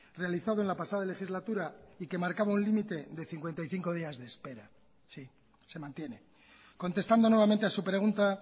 realizado en la pasada legislatura y que marcaba un límite de cincuenta y cinco días de espera sí se mantiene contestando nuevamente a su pregunta